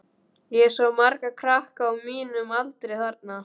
Ég sá marga krakka á mínum aldri þarna.